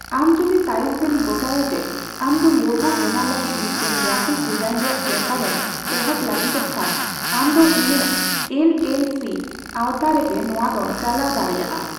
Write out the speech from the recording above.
ᱟᱢ ᱡᱚᱫᱤ ᱛᱟᱭᱚᱛᱮᱢ ᱜᱚᱴᱟᱭᱟ ᱡᱮ ᱟᱢᱫᱚ ᱞᱳᱜᱳ ᱵᱮᱱᱟᱣ ᱞᱟᱹᱜᱤᱫ ᱢᱤᱫᱴᱟᱝ ᱜᱨᱟᱯᱷᱤᱠ ᱰᱤᱡᱟᱤᱱ ᱨᱮᱭᱟᱜ ᱵᱮᱯᱟᱨ ᱮᱢ ᱮᱦᱚᱵ ᱞᱟᱹᱜᱤᱫᱚᱜ ᱠᱷᱟᱱ, ᱟᱢᱫᱚ ᱤᱱᱟᱹ ᱮᱞ ᱮᱞ ᱥᱤ ᱟᱣᱛᱟ ᱨᱮᱜᱮ ᱱᱚᱣᱟ ᱫᱚᱢ ᱪᱟᱞᱟᱣ ᱫᱟᱲᱮᱭᱟᱜᱼᱟ ᱾